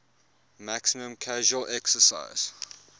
maximum casual excise